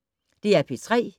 DR P3